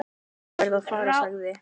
"""Ég verð að fara, sagði"""